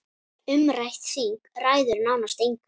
Umrætt þing ræður nánast engu.